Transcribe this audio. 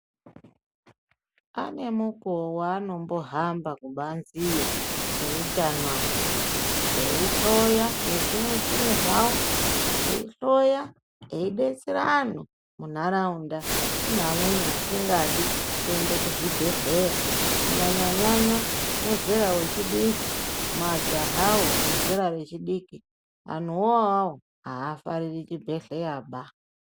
Ane mukueo waanombohamba kubanze iyo eutano aya eyihloya nezvimuchini zvawo eyihloya eyidetsera antu muntaraunda kune vamweni vasingadi kuenda kuzvibhedhlera kunyanyanyanya mazera echidiki majaha wo ezera echidiki anhu wo awawo hafariri chibhedhlera ba.